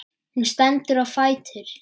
Hún stendur á fætur.